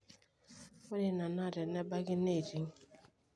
ore ina naa tenebaki neiting